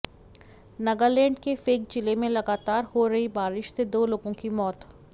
नगालैंड के फेक जिले में लगातार हो रही बारिश से दो लोगों की मौत